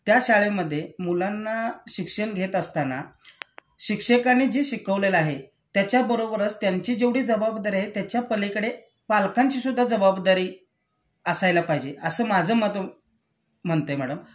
त्या शाळेमध्ये मुलांना शिक्षण घेत असताना शिक्षकांनी जे शिकवलेलं आहे त्याच्याबरोबरच त्यांची जेवढी जबाबदारी आहे त्याच्यापलीकडे पालकांची सुद्धा जबाबदारी असायला पाहिजे असं माझं मत म्हणतय मॅडम